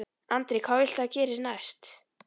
Andri: Hvað viltu að gerist næst?